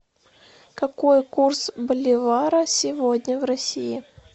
какой курс боливара сегодня в россии